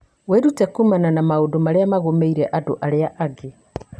Wĩrute kuumana na maũndũ marĩa magũmĩire andũ arĩa angĩ.